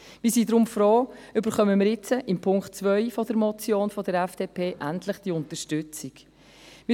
Wir sind deswegen froh, dass wir mit dem Punkt 2 der Motion der FDP endlich diese Unterstützung erhalten.